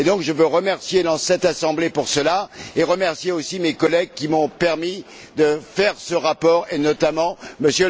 Je veux donc remercier cette Assemblée pour cela et remercier aussi mes collègues qui m'ont permis de faire ce rapport et notamment M.